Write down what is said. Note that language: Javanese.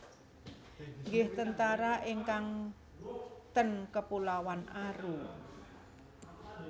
Nggih tentara ingkang ten Kepulauan Aru